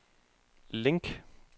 link